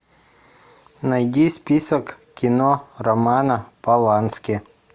найди список кино романа полански